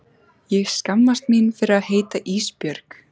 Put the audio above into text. Ég skammast mín fyrir að heita Ísbjörg.